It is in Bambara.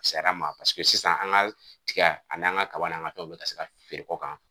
A fisayar'an ma paseke sisan an ka tigɛ ani an ka kaba n'an ka fɛnw bɛ se ka feere kɔ kan.